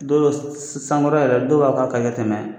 Dɔw yo s sankɔrɔ yɛrɛ dɔw b'a k'a tɛ mɛ